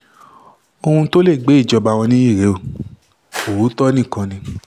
ohun tó lè gbé ìjọba wọn nìyí rèé òótọ́ nìkan ni